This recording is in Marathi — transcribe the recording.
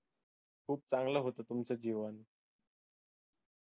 खूप चांगलं होतं तुमचं जीवन